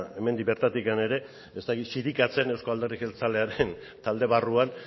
hemendik bertatik ere ez dakit zirikatzen euzko alderdi jeltzalearen talde barruan